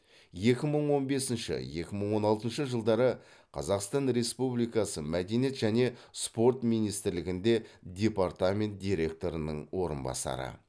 екі мың он бесінші екі мың он алтыншы жылдары қазақстан республикасы мәдениет және спорт министрлігінде департамент директорының орынбасары